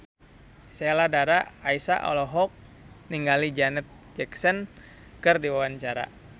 Sheila Dara Aisha olohok ningali Janet Jackson keur diwawancara